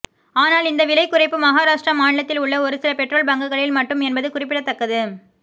ஆனால் இந்த விலை குறைப்பு மகாராஷ்டிரா மாநிலத்தில் உள்ள ஒருசில பெட்ரோல் பங்குகளில் மட்டும் என்பது குறிப்பிடத்தக்கது